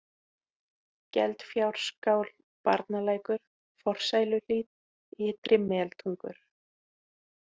Geldfjárskál, Barnalækur, Forsæluhlíð, Ytri-meltungur